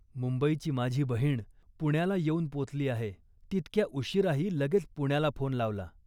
मुंबईची माझी बहिण पुण्याला येऊन पोचली आहे. तितक्या उशिराही लगेच पुण्याला फोन लावला